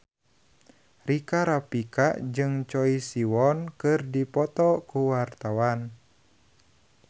Rika Rafika jeung Choi Siwon keur dipoto ku wartawan